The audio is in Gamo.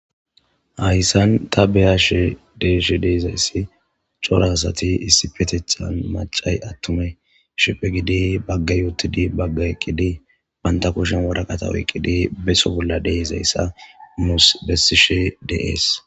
hayssan ta beyashe deyjshe dei'zayssi coraasati issi petethan macay attume shiphe gidi bagge yootidi bagga eqqidi banta kushen wora qatawo eqqidi beso bolla deezayssa muus bessishe dees